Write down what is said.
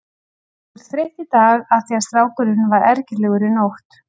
Þú ert þreytt í dag af því að strákurinn var ergilegur í nótt.